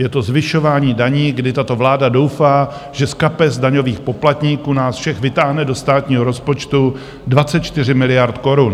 Je to zvyšování daní, kdy tato vláda doufá, že z kapes daňových poplatníků, nás všech, vytáhne do státního rozpočtu 24 miliard korun.